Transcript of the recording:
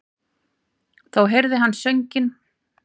Þá heyrði hann sönginn.